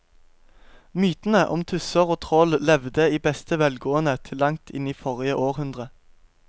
Mytene om tusser og troll levde i beste velgående til langt inn i forrige århundre.